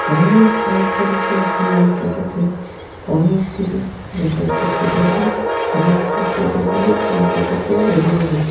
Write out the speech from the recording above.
অনেক কম খরচে আপনি এই টোটোতে অনেক দূরে যাতায়াত করতে পারবেন আর এই কু টোটো গুলো কলকাতাতে এভেলেবেল ।